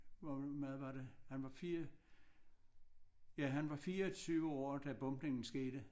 Hvor meget var det han var 4 ja han var 24 år da bombningen skete